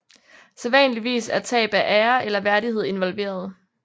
Sædvanligvis er tab af ære eller værdighed involveret